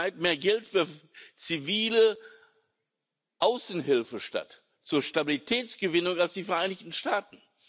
weit mehr Geld für zivile Außenhilfe statt zur Stabilitätsgewinn aus als die Vereinigten Staaten.